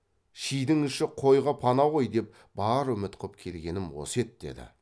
шидің іші қойға пана ғой деп бар үміт қып келгенім осы еді деді